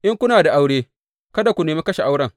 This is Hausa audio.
In kuna da aure, kada ku nemi kashe auren.